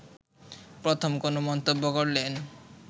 প্রথম কোন মন্তব্য করলেন